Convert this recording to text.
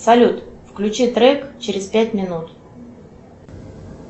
салют включи трек через пять минут